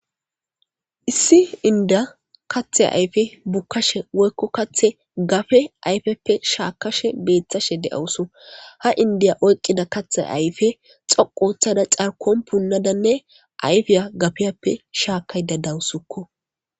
Issi indiya kathe ayfe bukkashe woykko kathe gafe ayfeppe shaakashe beeththashe de'owuso ha indiya oyqqida kathe ayfe xoqothada carkon punnadanne ayfiya gafeyappe shaakay da dawusukko.